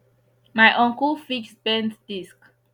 my uncle fix bent disc